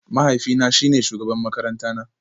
Mahaifina shine shugaban makarantara